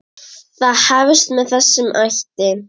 Það hefst með þessum hætti: